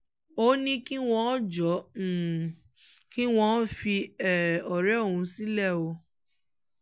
ó ní kí wọ́n jọ̀ọ́ kí wọ́n fi ọ̀rẹ́ òun sílẹ̀ o